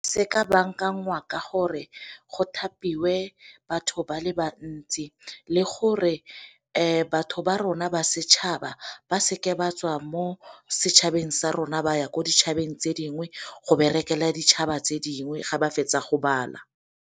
Se ka bankanngwa ka gore go thapiwe batho ba le bantsi le gore batho ba rona ba setšhaba ba se ke ba tswa mo setšhabeng sa rona ba ya ko dithabeng tse dingwe go berekela ditšhaba tse dingwe ga ba fetsa go bala.